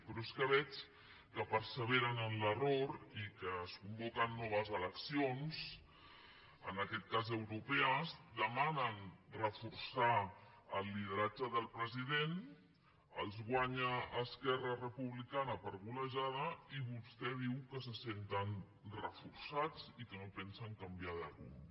però és que veig que perseveren en l’error i que es convoquen noves eleccions en aquest cas europees demanen reforçar el lideratge del president els guanya esquerra republicana per golejada i vostè diu que se senten reforçats i que no pensen canviar de rumb